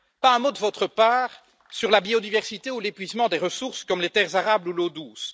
Pas un mot de votre part sur la biodiversité ou l'épuisement des ressources comme les terres arables ou l'eau douce.